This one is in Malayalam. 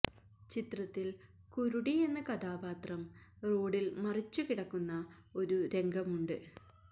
ചിത്രത്തിൽ കുരുടി എന്ന കഥാപാത്രം റോഡിൽ മറിച്ചു കിടക്കുന്ന ഒരു രംഗമുണ്ട്